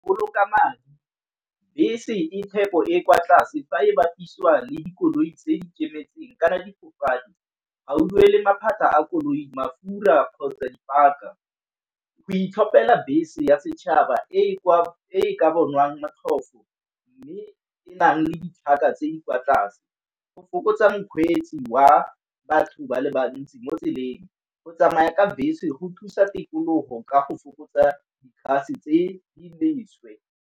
Boloka madi bese e phepo e kwa tlase fa e bapisiwa le dikoloi tse di kemetseng kana di duele maphata a koloi, mafura kgotsa dipaka. Go itlhopela bese ya setšhaba e ka bonwang motlhofo, mme e nang le ditlhaka tse di kwa tlase. Go fokotsa mokgweetsi wa batho ba le bantsi mo tseleng go tsamaya ka bese go thusa tikologo ka go fokotsa tse di leswe.